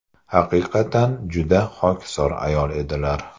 Haqiqatan, juda xokisor ayol edilar.